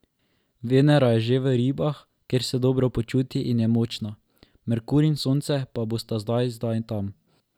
Venera je že v Ribah, kjer se dobro počuti in je močna, Merkur in Sonce pa bosta zdaj zdaj tam.